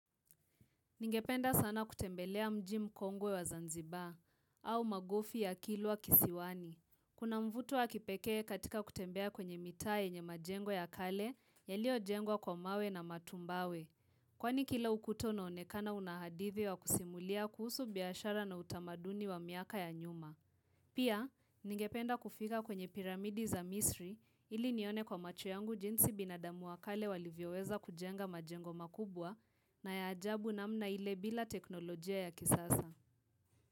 Ningependa sana kutembelea mji mkongwe wa Zanzibar. Au magofi ya kilwa kisiwani. Kuna mvuto wa kipeke katika kutembea kwenye mitaa yenye majengo ya kale, yaliyojengwa kwa mawe na matumbawe. Kwani kila ukuta unaonekana una hadithi wa kusimulia kuhusu biashara na utamaduni wa miaka ya nyuma. Pia, ningependa kufika kwenye piramidi za Misri, ili nione kwa macho yangu jinsi binadamu wa kale walivyoweza kujenga majengo makubwa, na ya ajabu namna ile bila teknolojia ya kisasa.